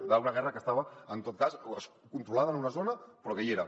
d’una guerra que estava en tot cas controlada en una zona però que hi era